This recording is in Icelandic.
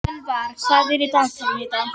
Sölvar, hvað er í dagatalinu í dag?